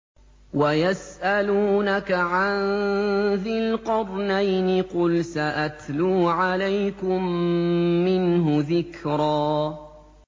وَيَسْأَلُونَكَ عَن ذِي الْقَرْنَيْنِ ۖ قُلْ سَأَتْلُو عَلَيْكُم مِّنْهُ ذِكْرًا